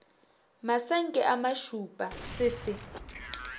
masenke a mašupa se se